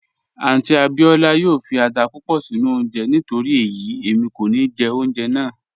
Àunty Abíọla yoo fí àtà púpọ̀ sinu ọ̀unje nítorí eyi emi kò ní jẹ ọ̀unjẹ́ náà